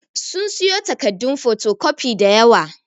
Sun siyo takaddun fotocopi da yawa.